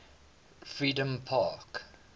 freedompark